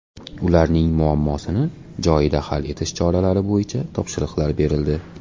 Ularning muammosini joyida hal etish choralari bo‘yicha topshiriqlar berildi.